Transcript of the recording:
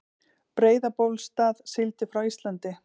Breiðabólsstað, sigldi frá Íslandi.